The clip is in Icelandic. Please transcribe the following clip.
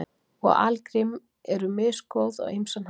Og algrím eru misgóð á ýmsan hátt.